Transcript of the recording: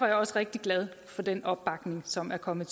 jeg også rigtig glad for den opbakning som er kommet